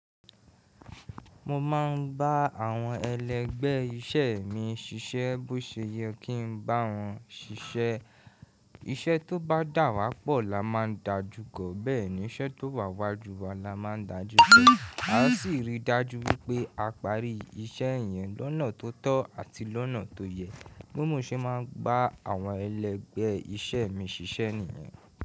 Mo máa ń bá àwọn ẹlẹgbẹ́ iṣẹ́ mi ṣiṣẹ́ bó ṣe yẹ kí n bá wọn ṣiṣẹ́. Iṣẹ́ tó bá dà wá pọ̀ la máa ń dáa jù, bẹ́ẹ̀ ni iṣẹ́ tó wà wá jù wa la máa ń dáa jù. A ó sì rí i dájú wípé a parí iṣẹ́ yẹn lọ́nà tó tọ́ àti lọ́nà tó yẹ. Bi mo ṣe máa ń bá àwọn ẹlẹgbẹ́ iṣẹ́ mi ṣiṣẹ́ nìyẹn.